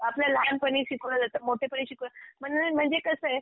आपल्या लहानपणी शिकवलं जातं, मोठेपणी शिकवलं म्हणजे कसंय